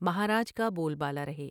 مہارا ج کا بول بالا رہے ۔